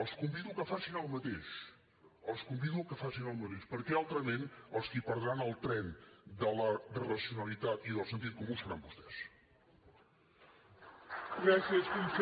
els convido que facin el mateix els convido que facin el mateix perquè altrament els qui perdran el tren de la racionalitat i del sentit comú seran vostès